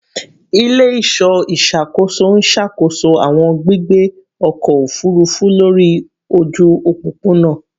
Ile-iṣọ iṣakoso n ṣakoso awọn gbigbe ọkọ ofurufu lori oju opopona